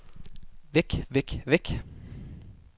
væk væk væk